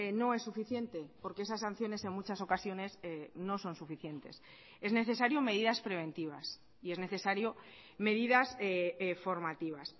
no es suficiente porque esas sanciones en muchas ocasiones no son suficientes es necesario medidas preventivas y es necesario medidas formativas